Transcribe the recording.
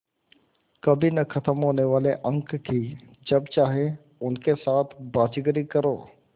कभी न ख़त्म होने वाले अंक कि जब चाहे उनके साथ बाज़ीगरी करो